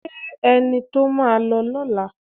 Ṣé ẹni tó máa lọ lọ́la